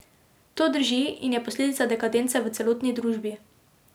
To drži in je posledica dekadence v celotni družbi.